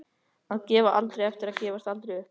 Að gefa aldrei eftir og gefast aldrei upp.